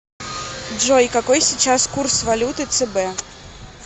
джой какой сейчас курс валюты цб